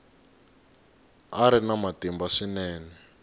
a ri na matimba swinene